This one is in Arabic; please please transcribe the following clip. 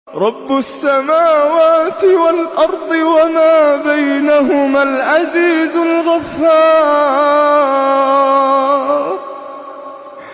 رَبُّ السَّمَاوَاتِ وَالْأَرْضِ وَمَا بَيْنَهُمَا الْعَزِيزُ الْغَفَّارُ